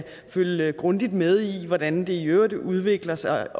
følge grundigt med i hvordan det i øvrigt udvikler sig